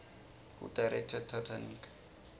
who directed titanic